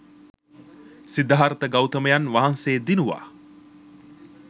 සිද්ධාර්ථ ගෞතමයන් වහන්සේ දිනුවා.